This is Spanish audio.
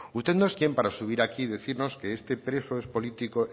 usted no es quién para subir aquí decirnos que este preso es político